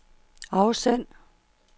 afsend